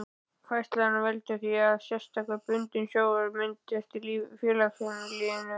Færslan veldur því að sérstakur bundinn sjóður myndast í félaginu.